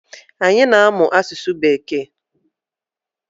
Anyi na-amụ asụsụ bekee